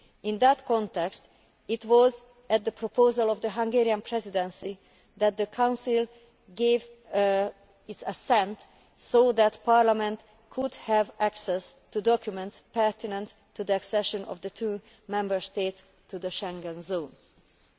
area. In that context, it was at the proposal of the Hungarian Presidency that the Council gave its assent so that Parliament could have access to documents pertinent to the accession of the two Member States to the Schengen